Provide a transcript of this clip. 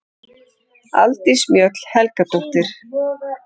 Aldís Mjöll Helgadóttir